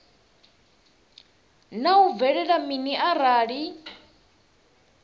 naa hu bvelela mini arali